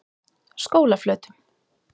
Skólaflötum